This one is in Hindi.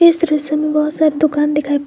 इस दृश्य में बहुत सारी दुकान दिखाई प--